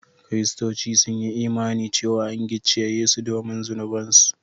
Kiristoci sun yi imani cewa an gicciye Yesu domin zunubansu